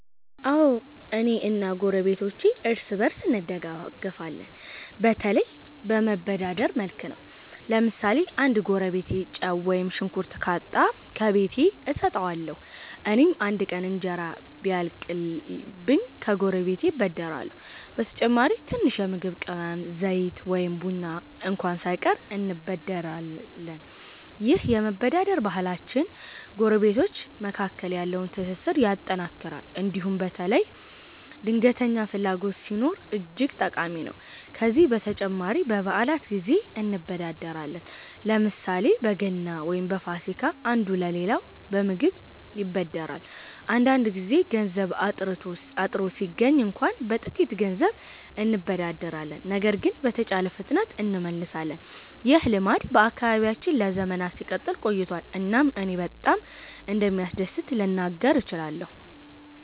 አዎ፣ እኔ እና ጎረቤቶቼ እርስ በእርስ እንደጋፈፋለን፤ በተለይም በመበዳደር መልክ ነው። ለምሳሌ አንድ ጎረቤቴ ጨው ወይም ሽንኩርት ካጣ፣ ከቤቴ እሰጠዋለሁ። እኔም አንድ ቀን እንጀራ ቢያልቅኝ ከጎረቤቴ እበደርሃለሁ። በተጨማሪም ትንሽ የምግብ ቅመም፣ ዘይት ወይም ቡና እንኳ ሳይቀር እንበደርበታለን። ይህ የመበዳደር ባህላችን ጎረቤቶች መካከል ያለውን ትስስር ያጠናክራል እንዲሁም በተለይ ድንገተኛ ፍላጎት ሲኖር እጅግ ጠቃሚ ነው። ከዚህ በተጨማሪ በበዓላት ጊዜ እንበዳደራለን፤ ለምሳሌ በገና ወይም በፋሲካ አንዱ ሌላውን በምግብ ይበድራል። አንዳንድ ጊዜ ገንዘብ አጥርቶ ሲገኝ እንኳ በጥቂት ገንዘብ እንበዳደራለን ነገር ግን በተቻለ ፍጥነት እንመልሳለን። ይህ ልማድ በአካባቢያችን ለዘመናት ሲቀጥል ቆይቷል እናም እኔ በጣም እንደሚያስደስት ልናገር እችላለሁ።